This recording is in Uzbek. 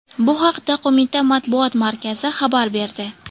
Bu haqda qo‘mita matbuot markazi xabar berdi .